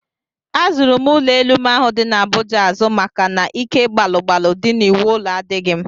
Azụrụ m ụlọelu m ahụ dị n'Abuja azụ maka na ike gbalụ gbalụ dị n'iwu ụlọ adịghị m